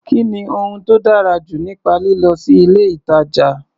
Kí ni ohun tó dára jù nípa lílọ sí ilé-ìtàjà?